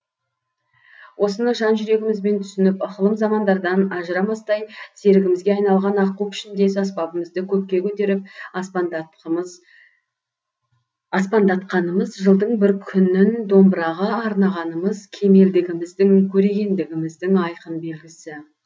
осыны жан жүрегімізбен түсініп ықылым замандардан ажырамастай серігімізге айналған аққу пішіндес аспабымызды көкке көтеріп аспандатқанымыз жылдың бір күнін домбыраға арнағанымыз кемелдігіміздің көрегендігіміздің айқын белгісі